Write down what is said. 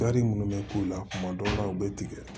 minnu bɛ k'u la kuma dɔw la u bɛ tigɛ